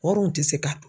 Wari dun ti se ka dun